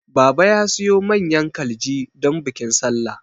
Baba ya siyo manyan kalji don bikin sallah